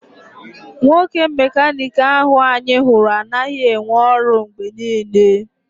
Nwoke mecanic ahụ anyị hụrụ anaghị enwe ọrụ mgbe niile.